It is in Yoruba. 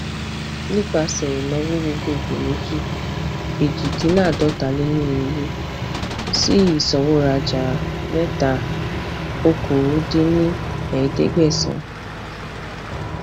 nipasẹ ìnáwó gbogboogbò méjì ejidinlaadọtaleirinwó sí isanworaja mẹta okòó dín ní ẹẹdẹgbẹsán